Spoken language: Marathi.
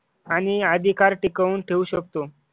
आणि अधिकार टिकवून ठेवू शकतो.